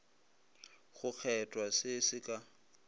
go kgethwa se se ka